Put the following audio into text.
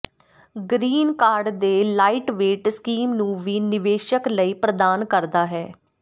green card ਦੇ lightweight scheme ਨੂੰ ਵੀ ਨਿਵੇਸ਼ਕ ਲਈ ਪ੍ਰਦਾਨ ਕਰਦਾ ਹੈ